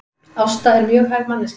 Ásta er mjög hæf manneskja